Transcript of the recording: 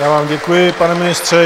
Já vám děkuji, pane ministře.